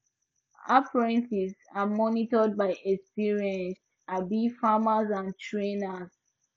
apprentices are mentored by experienced um farmers and trainers